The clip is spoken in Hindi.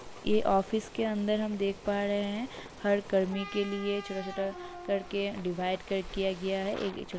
ये ऑफिस के अंदर हम देख पा रहे हैं हर कर्मी के लिए छोटा-छोटा करके डिवाइड कर दिया गया है। एक छोटा --